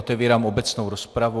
Otevírám obecnou rozpravu.